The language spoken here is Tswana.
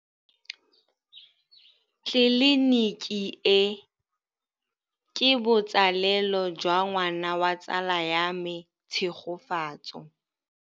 Tleliniki e, ke botsalêlô jwa ngwana wa tsala ya me Tshegofatso.